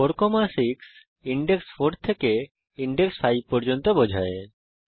4 6 index 4 থেকে index 5 পর্যন্ত বোঝায়